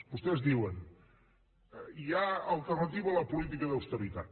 vostès diuen hi ha alternativa a la política d’austeritat